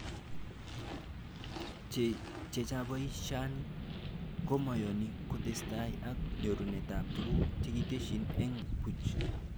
Chechabishani komakoyoni kotestai ak nyorunetab tuguk chekitesyi eng buch